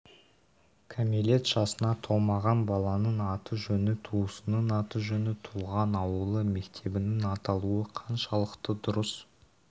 кәмелет жасына толмаған баланың аты-жөні туысының аты-жөні туған ауылы мектебенің аталуы қаншалықты дұрыс